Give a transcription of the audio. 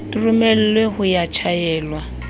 di romelwe ho ya tjhaelwa